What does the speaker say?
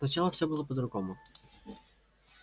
сначала всё было по-другому